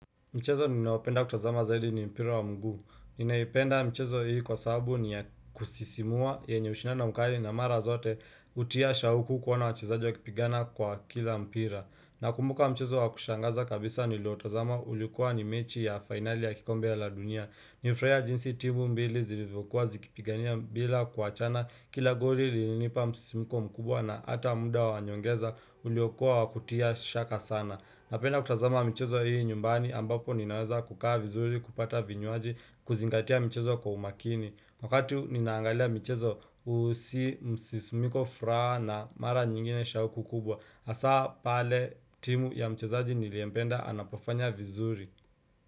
Mchezo ninaopenda kutazama zaidi ni mpira wa mguu. Ninaipenda michezo hii kwa sababu ni ya kusisimua yenye ushindano mkali na mara zote hutia shauku kuona wachezaji wakipigana kwa kila mpira. Nakumbuka mchezo wa kushangaza kabisa niliotazama ulikuwa ni mechi ya finali ya kikombe ya la dunia. Nilifurahia jinsi timu mbili zilivyokuwa zikipigania bila kuachana kila goli lilinipa msisimuko mkubwa na hata muda wa nyongeza uliokuwa wa kutia shaka sana. Napenda kutazama michezo hii nyumbani ambapo ninaweza kukaa vizuri kupata vinywaji kuzingatia mchezo kwa umakini. Wakati ninaangalia michezo huhisi msisimko fuhara na mara nyingine shauku kubwa. Hasa pale timu ya mchezaji niliyempenda anapofanya vizuri.